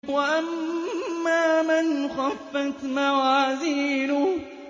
وَأَمَّا مَنْ خَفَّتْ مَوَازِينُهُ